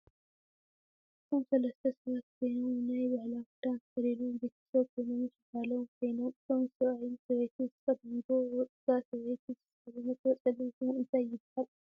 አዚ ሰለስተ ሰባት ኮይኖም ናይ ባህላዊ ክዳን ተኪድኖም ቤተሰብ ኮይኖም ምስ ጋሎም ኮነይኖም አቶም ሰብአይን ሰበይትን ዝተከደንጎ እታ ሰበይቲ ዝተከደነቶ ፀሊም ሽሙ እንታይ ይባሃል?